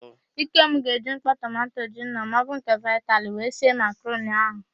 Ikem ga-eji mkpọ tomanto gino maọbụ nke vitali wee sie makaroni ahụ.